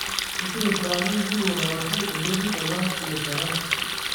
Isirisiraki inkuruon arashu enterit tena kirishata.